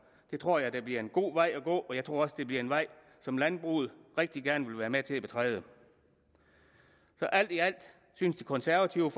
jeg tror det bliver en god vej at gå og jeg tror også det bliver en vej som landbruget rigtig gerne vil være med til at betræde alt i alt synes det konservative